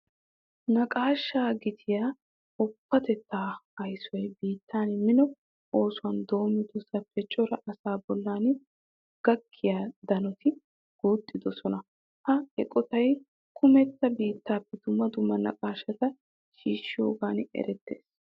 Naqaashaa gitiya woppatettaa aysoy biitten mino oosuwa doommoosappe cora asaa bollan gakkiya danoti guuxxidosona. Ha eqotay kumetta biittaappe dumma dumma naqaashata shiishshiyogan erettees.